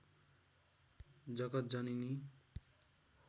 जगत् जननी